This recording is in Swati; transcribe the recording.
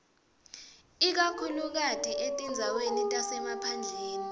ikakhulukati etindzaweni tasemaphandleni